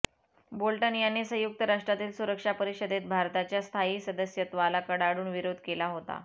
Bolton याने संयुक्त राष्ट्रातील सुरक्षा परिषदेत भारताच्या स्थायी सदस्यत्वाला कडाडून विरोध केला होता